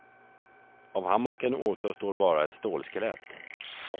Av hammocken återstår bara ett stålskelett.